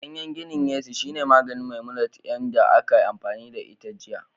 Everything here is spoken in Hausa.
Gaye gini yesu shine maganin Memunant 'yar da aka yi amfani da ita jiya